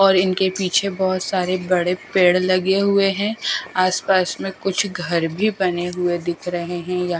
और इनके पीछे बहुत सारे बड़े पेड़ लगे हुए हैं आसपास में कुछ घर भी बने हुए दिख रहे हैं यह--